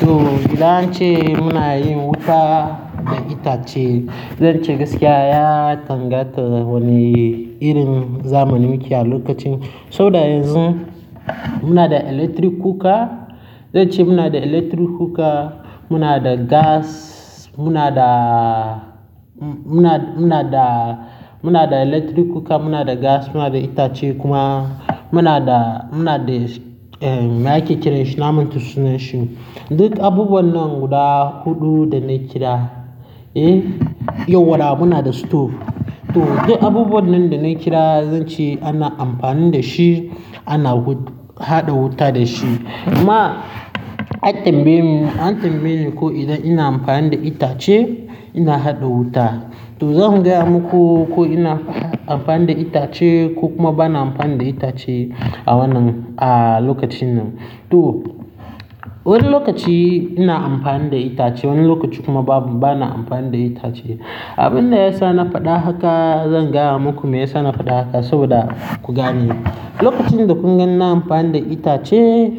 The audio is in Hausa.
To, idan an ce muna yin wuta da itace, zan ce gaskiya ya danganta da wani irin zamanin muke a lokacin. Saboda yanzu muna da electric cooker, zan ce muna da electric cooker, muna da gas, muna da, muna, muna da, muna da electric cooker, muna da gas, muna da itace kuma muna da, muna da, eh, me ake kiran shi? Na manta sunan shi. Duk abubuwan nan guda huɗu da na kira, eh? Yau wada muna da stove. To, duk abubuwan nan da na kira zan ce ana amfani da shi, ana haɗa wuta da shi. Amma an tambaye mu, an tambaye mu ko idan ina amfani da itace ina haɗa wuta. To, zan gaya muku ko ina amfani da itace ko kuma bana amfani da itace a wannan, a lokacin nan. To, wani lokaci ina amfani da itace, wani lokaci kuma ba, bana amfani da itace. Abin da ya sa na faɗa haka, zan gaya muku me ya sa na faɗa haka saboda ku gane. Lokacin da kun ga ina amfani da itace,